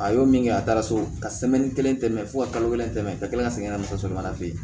A y'o min kɛ a taara so ka kelen tɛmɛ fo ka kalo kelen tɛmɛ ka kila ka segin ka na musomanin fɛ yen